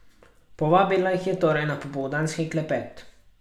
Povabila jih je torej na popoldanski klepet.